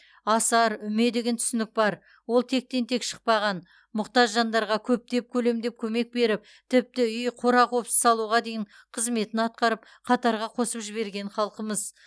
асар үме деген түсінік бар ол тектен тек шықпаған мұқтаж жандарға көптеп көлемдеп көмек беріп тіпті үй қора қопсы салуға дейін қызметін атқарып қатарға қосып жіберген халқымыз